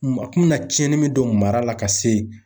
A kun bɛ na tiɲɛni min don mara la ka se.